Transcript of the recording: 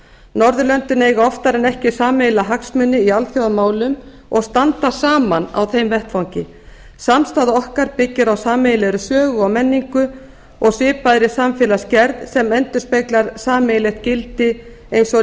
norðurlöndin eiga oftar en ekki sameiginlega hagsmuni í alþjóðamálum og standa saman á þeim vettvangi samstaða okkar byggir á sameiginlegri sögu og menningu og svipaðri samfélagsgerð sem endurspeglar sameiginlegt gildi eins